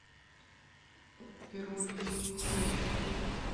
перович хрущ